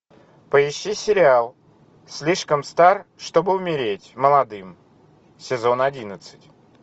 поищи сериал слишком стар чтобы умереть молодым сезон одиннадцать